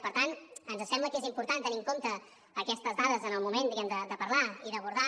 per tant ens sembla que és important tenir en compte aquestes dades en el moment diguem ne de parlar i d’abordar